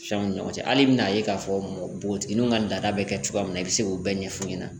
Fɛnw ni ɲɔgɔn cɛ hali i bɛn'a ye k'a fɔ npogotigininw ka laada bɛ kɛ cogoya min na i bɛ se k'o bɛɛ ɲɛfu ɲɛna